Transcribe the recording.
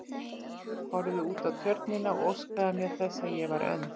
Horfði út á Tjörnina og óskaði mér þess að ég væri önd.